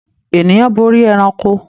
Ènìyàn borí ẹranko.